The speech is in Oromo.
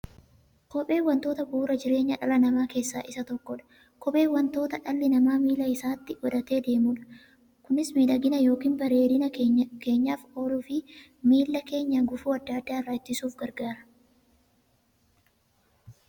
Kopheen wantoota bu'uura jireenya dhala namaa keessaa isa tokkodha. Kopheen wanta dhalli namaa miilla isaatti godhatee deemudha. Kunis miidhagani yookiin bareedina keenyaf kan ooluufi miilla keenya gufuu adda addaa irraa ittisuuf gargaara.